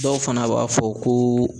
Dɔw fana b'a fɔ ko